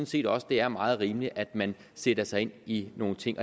set også det er meget rimeligt at man sætter sig ind i nogle ting